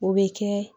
O bɛ kɛ